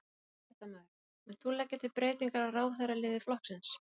Fréttamaður: Munt þú leggja til breytingar á ráðherraliði flokksins?